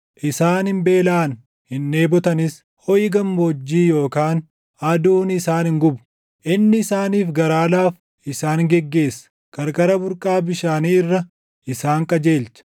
Isaan hin beelaʼan; hin dheebotanis; hoʼi gammoojjii yookaan aduun isaan hin gubu. Inni isaaniif garaa laafu isaan geggeessa; qarqara burqaa bishaanii irra isaan qajeelcha.